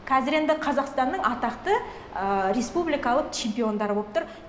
қазір енді қазақстанның атақты ыыы республикалық чемпиондары болып тұр